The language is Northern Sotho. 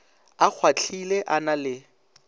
a kgwahlile a na le